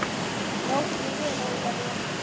Njóttu vel Ólafía!